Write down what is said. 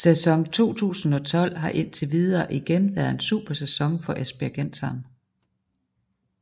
Sæson 2012 har indtil videre igen været en super sæson for esbjergenseren